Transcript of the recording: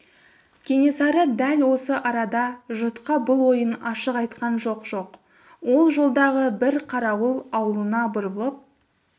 кенесары дәл осы арада жұртқа бұл ойын ашқан жоқ жоқ ол жолдағы бір қарауыл аулына бұрылып